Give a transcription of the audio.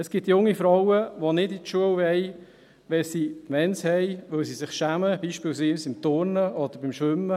Es gibt junge Frauen, die nicht zur Schule gehen wollen, wenn sie die Mens haben, weil sie sich schämen, beispielsweise beim Turnen oder beim Schwimmen.